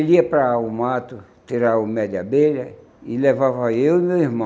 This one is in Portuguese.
Ele ia para o mato tirar o mel de abelha e levava eu e meu irmão.